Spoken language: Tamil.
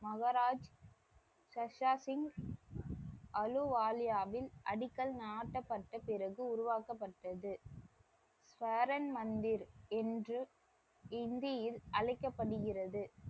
மஹராஜ் சஷா சிங் அலுவாலியாவின் அடிக்கல் நாட்டப்பட்ட பிறகு உருவாக்கப்பட்டது. ஷரோன் மந்திர் என்று ஹிந்தியில் அழைக்கப்படுகிறது.